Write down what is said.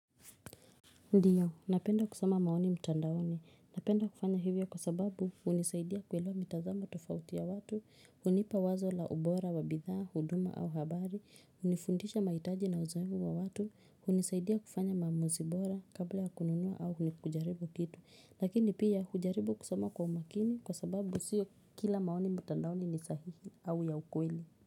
Ndiyo, napenda kusoma maoni mtandaoni. Napenda kufanya hivyo kwa sababu hunisaidia kuelewa mitazamo tofauti ya watu, hunipa wazo la ubora, wabidhaa, huduma au habari, hunifundisha mahitaji na uzoevu wa watu, hunisaidia kufanya maamuzibora kabla ya kununua au nikujaribu kitu. Lakini pia, hujaribu kusoma kwa umakini kwa sababu sio kila maoni mtandaoni ni sahihi au ya ukweli.